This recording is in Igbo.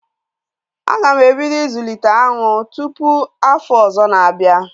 A ga m ebido ịzụlite aṅụ tụpụ afọ ọzọ na-abịa